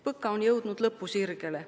PõKa on jõudnud lõpusirgele.